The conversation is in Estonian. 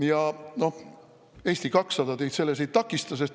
Ja noh, Eesti 200 teid selles ei takista.